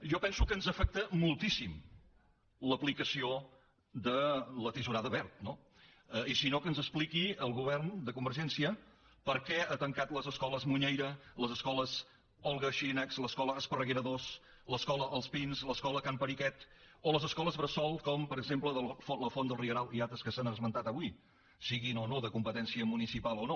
jo penso que ens afecta moltíssim l’aplicació de la tisorada wert no i si no que ens expliqui el govern de convergència per què ha tancat les escoles muñeira les escoles olga xirinacs l’escola esparreguera ii l’escola els pins l’escola can periquet o les escoles bressol com per exemple la font del rieral i altres que s’han esmentat avui siguin de competència municipal o no